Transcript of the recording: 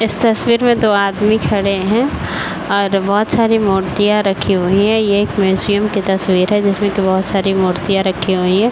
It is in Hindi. इस तस्वीर में दो आदमी खड़े हैं और बोहोत सारी मूर्तियाँ रखी हुई हैं। ये एक म्युसियम की तस्वीर है जिसमे की बोहोत सारी मूर्तियाँ रखी हुई हैं। .